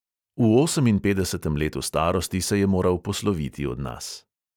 V oseminpetdesetem letu starosti se je moral posloviti od nas.